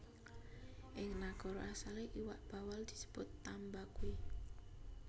Ing nagara asalé iwak bawal disebut tambaqui